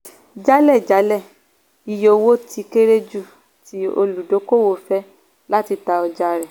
jálẹ̀jálẹ̀ - iye owó tí kéré jù tí olùdókòwò fẹ́ láti ta ọjà rẹ̀.